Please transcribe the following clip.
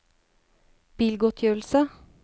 bilgodtgjørelse